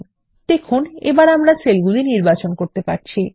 আমরা আবার সেল নির্বাচন করতে পারছি160